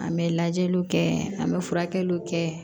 An bɛ lajɛliw kɛ an bɛ furakɛliw kɛ